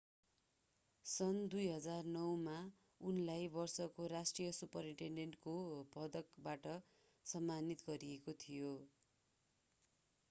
सन् 2009 मा उनलाई वर्षको राष्ट्रिय सुपरिटेन्डेन्टको पदकबाट सम्मानित गरिएको थियो